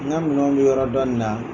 N ka minɛnw bɛ yɔrɔ dɔni na